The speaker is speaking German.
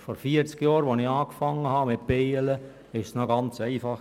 Vor vierzig Jahren, als ich angefangen habe mit dem Imkern, war es noch ganz einfach.